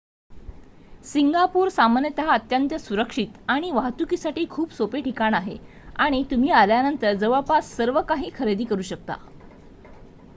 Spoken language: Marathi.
सिंगापूर सामान्यतः अत्यंत सुरक्षित आणि वाहतुकीसाठी खूप सोपे ठिकाण आहे आणि तुम्ही आल्यानंतर जवळपास सर्वकाही खरेदी करू शकता